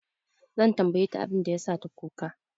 Zan tambaye ta abin da ya sa ta kuka.